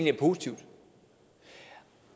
er positive